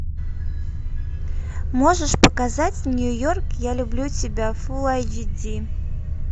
можешь показать нью йорк я люблю тебя фул айч ди